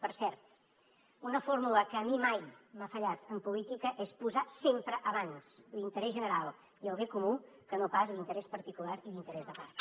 per cert una fórmula que a mi mai m’ha fallat en política és posar sempre abans l’interès general i el bé comú que no pas l’interès particular i l’interès de part